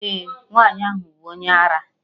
Eh, nwaanyị ahụ bụ onye ara